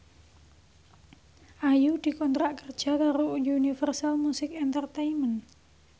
Ayu dikontrak kerja karo Universal Music Entertainment